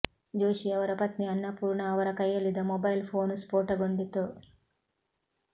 ಜೋಶಿ ಅವರ ಪತ್ನಿ ಅನ್ನಪೂರ್ಣಾ ಅವರ ಕೈಯಲ್ಲಿದ್ದ ಮೊಬೈಲ್ ಫೋನ್ ಸ್ಫೋಟಗೊಂಡಿತು